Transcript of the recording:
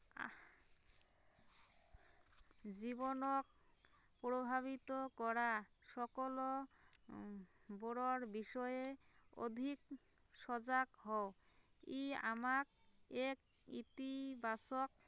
জীৱনক প্ৰভাৱিত কৰা সকলো উম বোৰৰ বিষয়ে অধিক সজাগ হও, ই আমাক এক ইতিবাচক